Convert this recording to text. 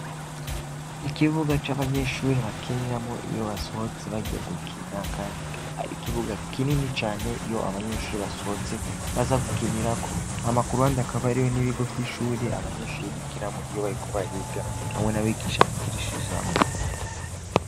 Ikibuga c'abanyenshuri bakiniramo iyo basohotse bagiya gukina, kandi kaba ari ikibuga kinini cane yo abanyenshuri basohotse baza gukinirako amakurubandi akaba ari yo n'ibigo vy'ishuri abanyenshuri bigiramo iyo bariko bariga hamwe n'abigisha gukirishijamwo.